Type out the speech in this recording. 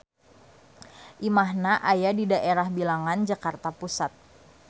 Imahna aya di daerah Bilangan Jakarta Pusat.